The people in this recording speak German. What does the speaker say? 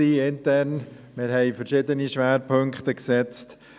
Wir haben verschiedene Schwerpunkte gesetzt.